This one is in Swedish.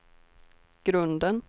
grunden